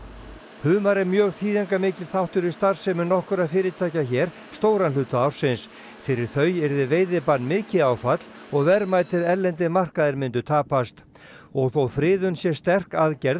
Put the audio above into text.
humar er mjög þýðingarmikill þáttur í starfsemi nokkurra fyrirtækja hér stóran hluta ársins fyrir þau yrði veiðibann mikið áfall og verðmætir erlendir markaðir myndu tapast og þó friðun sé sterk aðgerð